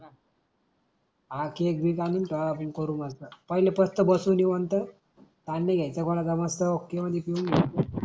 आ cake बी आणून ठेवा करू नंतर पहिले स्पष्ट बसू निवांत कांदे घ्यायचा गोळा जमाचा मस्त ओके मंधी पेऊन घ्यायच.